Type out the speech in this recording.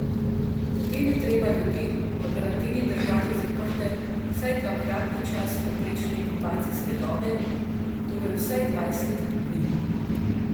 Potem je treba ljudi v karanteni držati zaprte vsaj dvakratni čas povprečne inkubacijske dobe, torej vsaj dvajset dni.